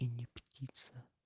и не птица